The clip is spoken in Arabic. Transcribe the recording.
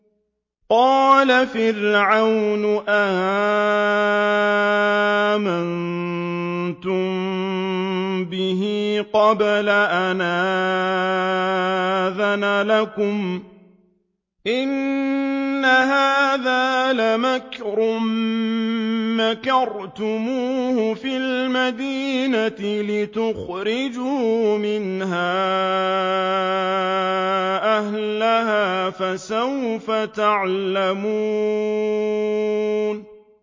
قَالَ فِرْعَوْنُ آمَنتُم بِهِ قَبْلَ أَنْ آذَنَ لَكُمْ ۖ إِنَّ هَٰذَا لَمَكْرٌ مَّكَرْتُمُوهُ فِي الْمَدِينَةِ لِتُخْرِجُوا مِنْهَا أَهْلَهَا ۖ فَسَوْفَ تَعْلَمُونَ